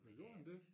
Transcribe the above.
Men gjorde han det?